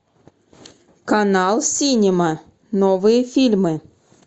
канал синема новые фильмы